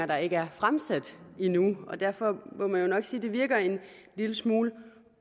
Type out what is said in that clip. der ikke er fremsat endnu og derfor må man jo nok sige at det virker en lille smule